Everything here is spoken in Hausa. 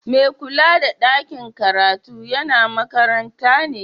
Mai kulla da ɗakin karatun yana makaranta ne?